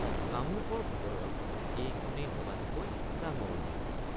কামৰূপৰ ভিতৰত এইখনেই সবাতোকৈ ডাঙৰ বিল।